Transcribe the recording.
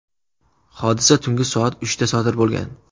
Hodisa tungi soat uchda sodir bo‘lgan.